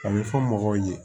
A bɛ fɔ mɔgɔw ye